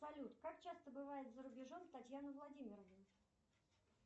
салют как часто бывает за рубежом татьяна владимировна